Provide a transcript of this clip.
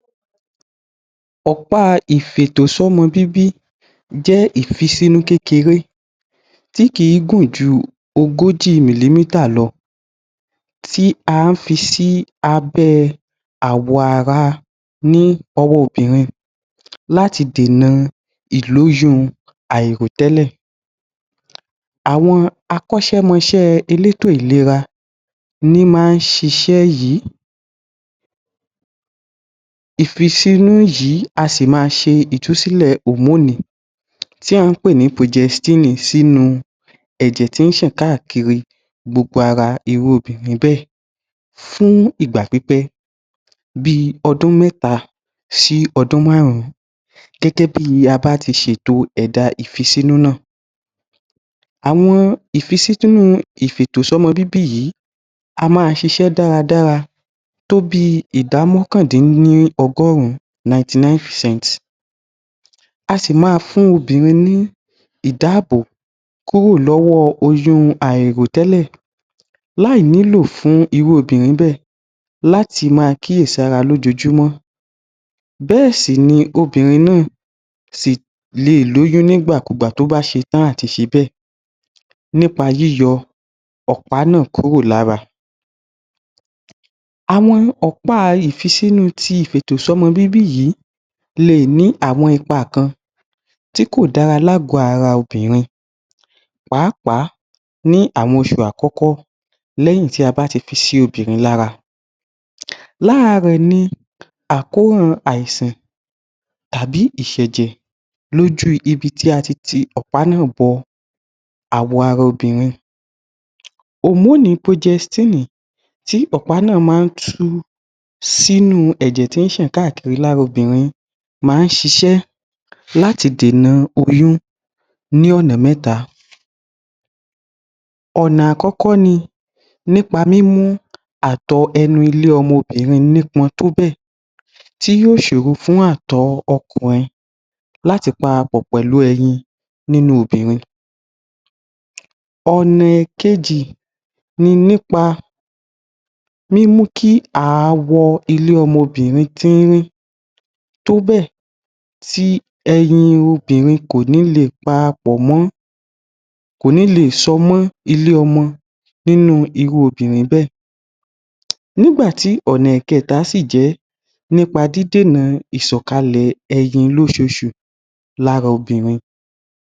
Ọ̀pàá ì fì ètò sí ọmọ bíbí jẹ́ ì fi sínú kékeré tí kìí gùn jù ogóojí mìlímítà lọ. tí à ń fií si, abẹ́ awọara, ní ọwọ́ obìrin. Láti dènà ìlóyún àìrò tẹ́lẹ̀. Àwọn akọ́șẹ́mọșẹ́ elétò ìlera ní máa ń sisé yìí. Ìfisínú yìí a sì tún má se ìtúsílè òmónì tí à ń pè ní projestínì sínú. ẹ̀jẹ̀ tí ń sàn káàkiri gbogbo ara irú obìrin bẹ́ẹ̀.Fún ìgbà pípé bí ọdún mẹ́ta, sí ọdún máárùn gẹ́gẹ́ bíi a bá ti șẹ̀dá ìfisínú náà àwọn ìfisínú ìfiètò sí ọmọ bíbí yìí.a máa șisẹ́ dáradára tóbíi ìdámọ́kàndínní ọgórún 99percents.asì maa fún obìrin ní ìdáábòbò kúrò lọ́wọ́ oyún àìrò tẹ́lẹ̀. láì ní lò fún irú obìrin bẹ́ẹ̀.láti máa kí è sára lójojúmọ́. bẹ́ẹsí ní obìrin náà sí lèe lóyún nígbà kú gbà tó bá șe tán àti șe bẹ́ẹ̀. nípa yíyọ ọ̀pá náà kúrò lára àwọn ọ̀pá ìfisínú ti ìfi ètò ọmọ bíbí yìí. Leè ní àwọn ipa kan tíkò dára láàgọ́ara obìrin.pàá pàá ní àwọn osù àkọ́kọ́.léyìn tí a bá ti fi sí obìrin lára lára rẹ̀ ni àkóràn àìsàn tàbí ìsẹ̀jẹ̀. Lójú ibití ati ti ọ̀pá náà bọawọ ara obìrin. Òmónì projẹstínì tí ọ̀pá náà máa ń tu ́sínú ẹ̀jẹ̀ tí ń sàn kákákiri lára obìrin máa ń șisẹ́ láti dènà oyún ní ọ̀nà méta. ọ̀nà àkọ́kọ́ ni nípa mímú àtọọ ẹnu ilé ọmọ obìrin ní pọn tó bẹ̀ẹ̀ tí yóò sòro fún àtọọ ọkùnrin.láti parapò pẹ̀lú eyin nínú obìrin ọ̀nà èkejì ni nípa mímú kí aawọ ilé ọmọbìrin tínrín tóbẹ̀ tí eyin obìrin kò ní leè para pọ̀ mọ́. Kò ní leè șọmọ́ ilé ọmọ nínú irú obìrin bẹ́ẹ̀.Nígbàtí ònà ẹ̀kẹta sí jẹ̀ẹ́ nípa dídènà ìsọ̀kalẹ̀ eyin lóșoosù lára obìrin.